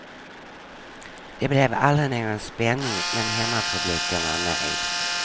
Det blev aldrig någon spänning men hemmapubliken var nöjd.